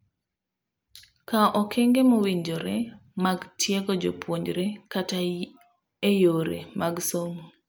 Kawo okenge mowinjore mag tiego jopuonjre kata eyore mag somo.